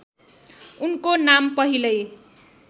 उनको नाम पहिल्यै